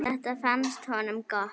Þetta fannst honum gott.